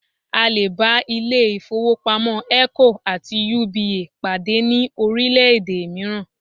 À lè bá ilé ìfowópamọ́ Eco àti UBA pàdé ní orílẹ̀-èdè mìíràn